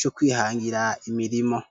co kwihangira imirimo.